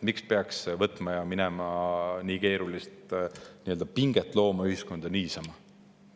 Miks peaks võtma ja minema nii keerulist pinget looma ühiskonda niisama?